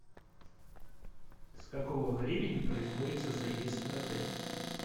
с какого времени производится заезд в отель